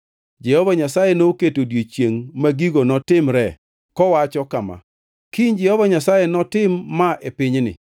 Jehova Nyasaye noketo odiechiengʼ ma gigo notimre kowacho kama: “Kiny Jehova Nyasaye notim ma e pinyni.”